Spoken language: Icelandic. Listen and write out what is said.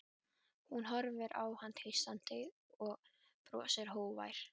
Hún horfir á hann tístandi, hann brosir, hógvær.